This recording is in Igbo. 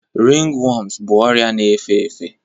Ringworms bụ ọrịa na-efe efe